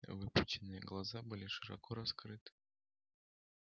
выпученные глаза были широко раскрыты